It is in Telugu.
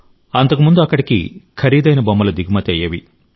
అంతకుముందు అక్కడికి ఖరీదైన బొమ్మలు దిగుమతి అయ్యేవి